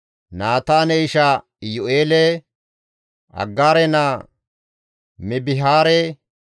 Naataane isha Iyu7eele, Aggaare naa Mibihaare,